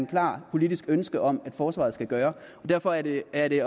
klart politisk ønske om at forsvaret skal gøre derfor er det er det